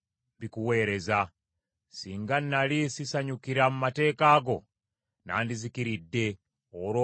Singa nnali sisanyukira mu mateeka go, nandizikiridde olw’obulumi bwe nalimu.